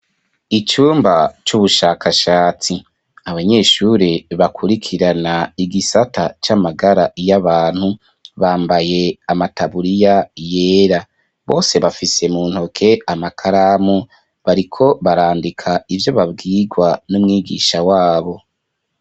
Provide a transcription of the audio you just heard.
Icumba c'ubushakashatsi; abanyeshure, bakurikirana, igisata c'amagara y'abantu, bambaye amataburiya, yera; bose, bafise mu ntoke, amakaramu, bariko barandika, ivyo babwirwa, n'umwigisha wabo.